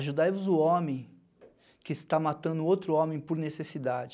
Ajudai-vos o homem que está matando outro homem por necessidade,